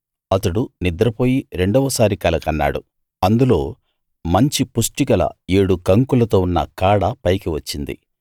అతడు నిద్రపోయి రెండవసారి కల కన్నాడు అందులో మంచి పుష్టిగల ఏడు కంకులతో ఉన్న కాడ పైకి వచ్చింది